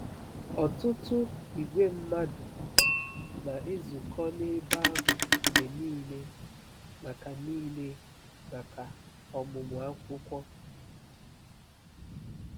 Ọtụtụ ìgwè mmadụ na-ezukọ n'ebe ahụ mgbe nile maka nile maka ọmụmụ akwụkwọ.